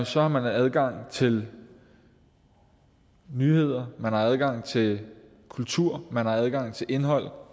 så har man adgang til nyheder man har adgang til kultur man har adgang til indhold